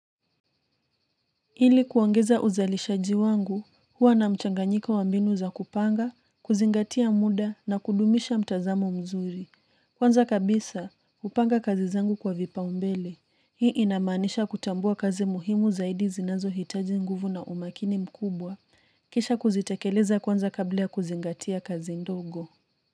Ili kuongeza uzalishaji wangu, huwa na mchanganyiko wa mbinu za kupanga, kuzingatia muda na kudumisha mtazamo mzuri. Kwanza kabisa, hupanga kazi zangu kwa vipao mbele. Hii inamaanisha kutambua kazi muhimu zaidi zinazohitaji nguvu na umakini mkubwa. Kisha kuzitekeleza kwanza kabla ya kuzingatia kazi ndogo.